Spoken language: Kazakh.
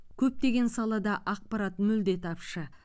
көптеген салада ақпарат мүлде тапшы